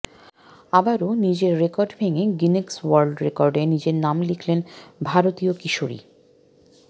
আবারও নিজের রেকর্ড ভেঙে গিনেস ওয়ার্ল্ড রেকর্ডে নাম লিখলেন ভারতীয় কিশোরী